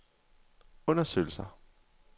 undersøgelser